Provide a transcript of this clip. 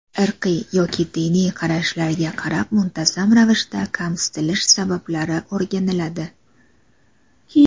irqiy yoki diniy qarashlarga qarab muntazam ravishda kamsitilish sabablari o‘rganiladi.